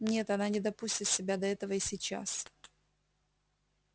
нет она не допустит себя до этого и сейчас